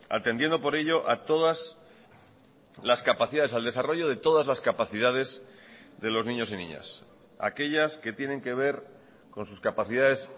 atendiendo por ello a todas las capacidades al desarrollo de todas las capacidades de los niños y niñas aquellas que tienen que ver con sus capacidades